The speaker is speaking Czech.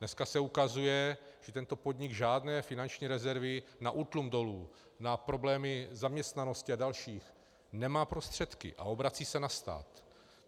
Dneska se ukazuje, že tento podnik žádné finanční rezervy na útlum dolu, na problémy zaměstnanosti a další nemá prostředky a obrací se na stát.